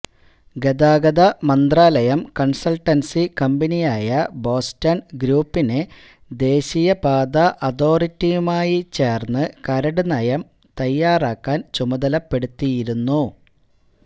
ഗതാഗതമന്ത്രാലയം consultancy കമ്പനിയായ Boston ഗ്രൂപ്പിനെ ദേശീയപാതാ അതോറിറ്റിയുമായി ചേർന്നു കരടുനയം തയ്യാറാക്കാൻ ചുമതലപ്പെടുത്തിയിരുന്നു